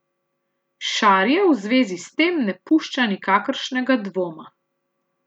Šarija v zvezi s tem ne pušča nikakršnega dvoma.